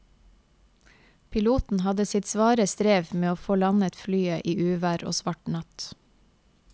Piloten hadde sitt svare strev med å få landet flyet i uvær og svart natt.